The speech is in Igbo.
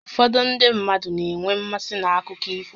Ụfọdụ ndị mmadụ na-enwe mmasị n'akụkọ ifo